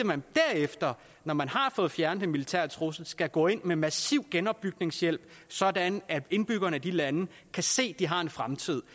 man derefter når man har fået fjernet den militære trussel skal gå ind med massiv genopbygningshjælp sådan at indbyggerne i de lande kan se at de har en fremtid